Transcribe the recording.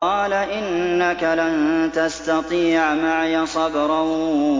قَالَ إِنَّكَ لَن تَسْتَطِيعَ مَعِيَ صَبْرًا